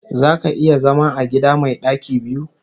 Zaka iya zama a gida mai ɗaki biyu?